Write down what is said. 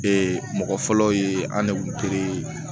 Ee mɔgɔ fɔlɔ ye an de kun te